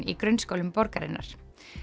í grunnskólum borgarinnar